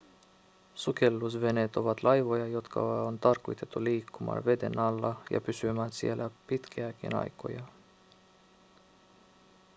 sukellusveneet ovat laivoja jotka on tarkoitettu liikkumaan veden alla ja pysymään siellä pitkiäkin aikoja